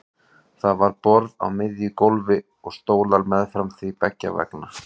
Það var borð á miðju gólfi og stólar meðfram því beggja vegna.